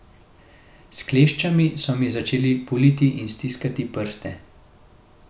S kleščami so mi začeli puliti in stiskati prste.